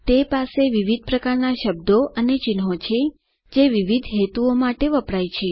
તે પાસે વિવિધ પ્રકારના શબ્દો અને ચિહ્નો છે જે વિવિધ હેતુઓ માટે વપરાય છે